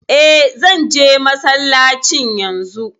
E, zan je masallacin yanzu.